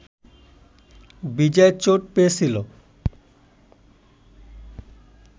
বিজয় চোট পেয়েছিল